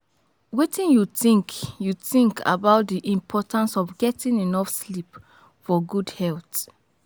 Wetin you think you think about di importance of getting enough sleep for good health?